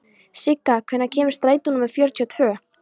Sigga, hvenær kemur strætó númer fjörutíu og tvö?